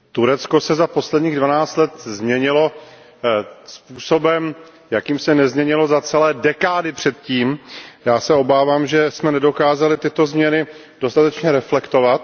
Paní předsedající, Turecko se za posledních dvanáct let změnilo způsobem, jakým se nezměnilo za celé dekády předtím. Já se obávám, že jsme nedokázali tyto změny dostatečně reflektovat.